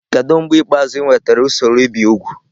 Kedu mgbe ikpeazụ ị nwetara usoro ibi úgwù?